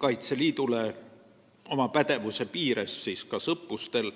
Kaitseliidule võimaluse oma pädevuse piires terviseabi osutada.